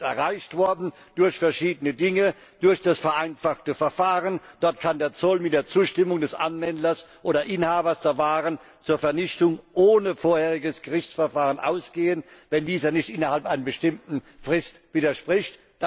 Das ist erreicht worden durch verschiedene Dinge, durch das vereinfachte Verfahren. Dort kann der Zoll mit der Zustimmung des Anwenders oder Inhabers der Waren ohne vorheriges Gerichtsverfahren zur Vernichtung übergehen, wenn dieser nicht innerhalb einer bestimmten Frist widerspricht.